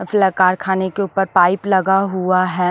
उफ्लाकारखाने के ऊपर पाइप लगा हुआ है ।